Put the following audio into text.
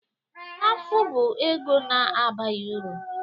Afụ bụ ego na-abaghị uru